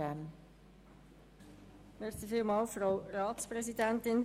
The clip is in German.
Kommissionssprecherin der FiKo.